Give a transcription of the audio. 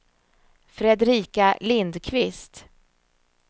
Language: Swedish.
Fredrika Lindqvist